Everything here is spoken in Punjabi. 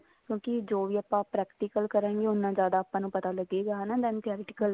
ਕਿਉਂਕਿ ਜੋ ਵੀ ਆਪਾਂ practical ਕਰਾਂਗੇ ਉਨਾ ਜਿਆਦਾ ਆਪਾਂ ਨੂੰ ਪਤਾ ਲੱਗੇਗਾ ਹਨਾ